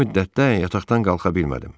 Bu müddətdə yataqdan qalxa bilmədim.